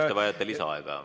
Kas te vajate lisaaega?